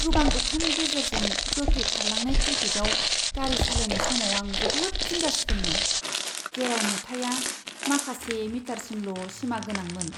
गोबां अखानि गेजेरजों गोख्रै खारलांनाय ट्रेफिकआव गारि सालायनाय समाव आं जोबोद जिंगा सिदोंमोन, जेराव नुथाइया माखासे मिटारसिमल' सिमागोनांमोन।